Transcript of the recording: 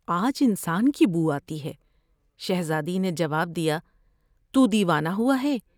آج انسان کی بوآتی ہے '' شہزادی نے جواب دیا '' تو دیوانہ ہوا ہے ۔